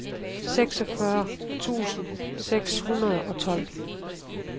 seksogfyrre tusind seks hundrede og tolv